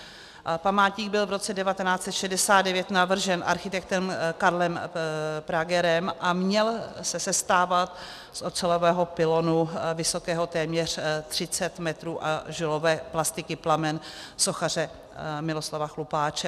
Památník byl v roce 1969 navržen architektem Karlem Pragerem a měl se sestávat z ocelového pylonu, vysokého téměř 30 metrů, a žulové plastiky Plamen sochaře Miloslava Chlupáče.